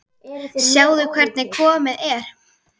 Sjáðu hvernig komið er.